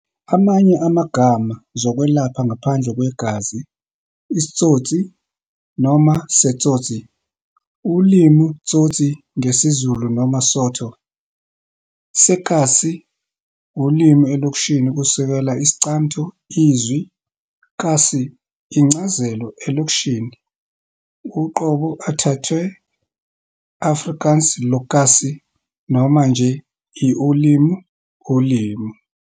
Amanye amagama zokwelapha ngaphandle kwegazi "Isitsoti" noma "Setsotsi" ulimi "Tsotsi" ngesiZulu noma Sotho, "Sekasi" ulimi elokishini, kusukela Iscamtho izwi "Kasi" incazelo elokishini, uqobo ethathwe Afrikaans "lokasie," noma nje "i-ulimi," ulimi.